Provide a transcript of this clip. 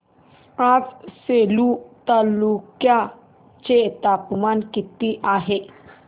आज सेलू तालुक्या चे तापमान किती आहे